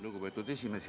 Lugupeetud esimees!